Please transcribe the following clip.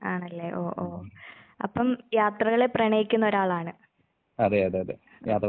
ആണല്ലേ? ഓ ഓ. അപ്പം യാത്രകളെ പ്രണയിക്കുന്നൊരാളാണ്. അഹ്.